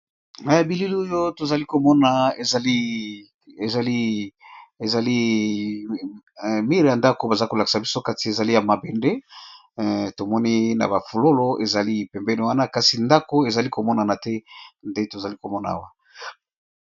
Na bilili oyo tozali komona ezali mur ya ndako baza ko lakisa biso, kati ezali ya mabende tovmoni na ba fololo ezali pembeni wana kasi ndako ezali ko monana te nde tozali ko mona awa .